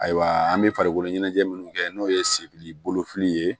Ayiwa an bɛ farikolo ɲɛnajɛ minnu kɛ n'o ye sebili bolo fili ye